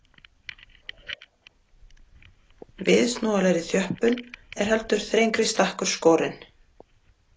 Viðsnúanlegri þjöppun er heldur þrengri stakkur skorinn.